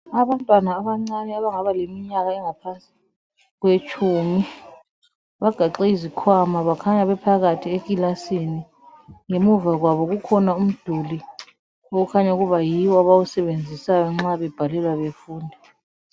Abantwana abancane abaleminyaka engaba ngaphansi kwetshumi bagaxe izikhwama bakhanya beohakathi ekilasini. Ngemuva kwabo kukhona umduli okhanya ukuba yiwo abawusebenzisayo nxa babhalela befunda.